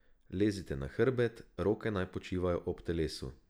Lezite na hrbet, roke naj počivajo ob telesu.